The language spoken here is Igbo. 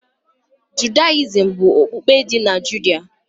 Judayizim bụ okpukpe dị na Judah